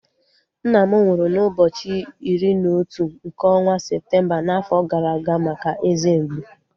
Nna m nwụrụ n'ụbọchị iri na otu nke ọnwa Septemba n'afọ gara aga maka eze mgbu